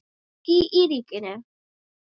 Ríki í ríkinu?